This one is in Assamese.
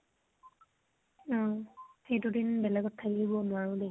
অ । সেই দুদিন বেলেগ ত থাকিব নোৱাৰো দেই ।